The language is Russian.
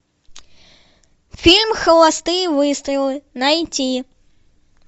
фильм холостые выстрелы найти